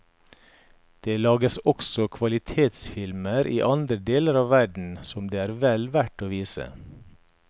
Det lages også kvalitetsfilmer i andre deler av verden som det er vel verdt å vise.